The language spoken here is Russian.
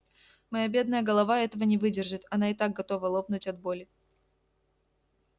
моя бедная голова этого не выдержит она и так готова лопнуть от боли